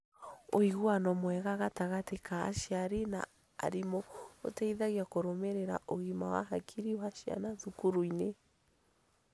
Ũiguano mwega gatagatĩ ka aciari na arimũ ũteithagia kũrũmĩrĩra ũgima wa hakiri wa ciana thukuru-inĩ.